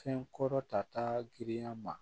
Fɛn kɔrɔ ta taa girinya ma